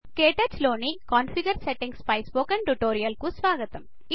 క్టచ్ లోని configure settings పై spoken tutorial కు స్వాగతం